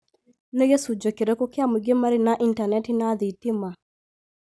Nĩ gĩcunjĩ kĩrĩkũ kĩa mũingĩ marĩ na intaneti na thitima?